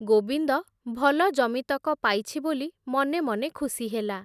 ଗୋବିନ୍ଦ ଭଲ ଜମିତକ ପାଇଛି ବୋଲି, ମନେ ମନେ ଖୁସି ହେଲା ।